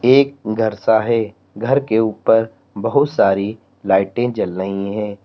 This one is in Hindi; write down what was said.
एक घर सा है घर के ऊपर बहुत सारी लाइटें जल रही हैं।